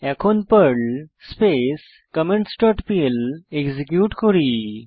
এখন Perl space comments dot PL execute করি